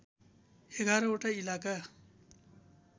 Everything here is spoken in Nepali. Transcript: ११ वटा इलाका